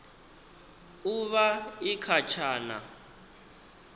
u vha i kha tshana